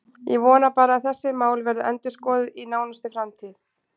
Ég vona bara að þessi mál verði endurskoðuð í nánustu framtíð.